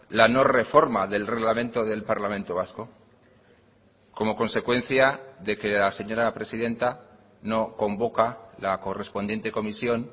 la no reforma del reglamento del parlamento vasco como consecuencia de que la señora presidenta no convoca la correspondiente comisión